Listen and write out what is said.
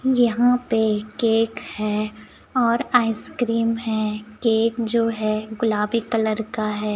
यहाँ पे केक है ओर आइसक्रीम है केक जो है गुलाबी कलर का हैं।